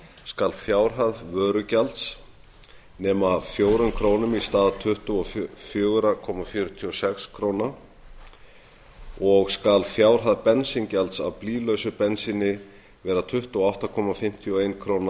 skal fjárhæð vörugjalds nema fjórar krónur í stað tuttugu og fjögur komma fjörutíu og sex krónur og skal fjárhæð bensíngjalds af blýlausu bensíni vera tuttugu og átta komma fimmtíu og ein króna